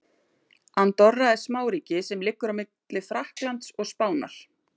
Andorra er smáríki sem liggur á milli Frakklands og Spánar.